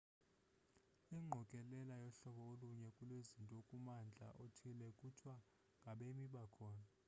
ingqokelela yohlobo olunye lwezinto kummandla othile kuthiwa ngabemi bakhona